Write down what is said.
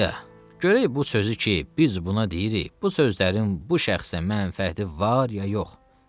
A, görək bu sözü ki, biz buna deyirik, bu sözlərin bu şəxsə mənfəəti var ya yox?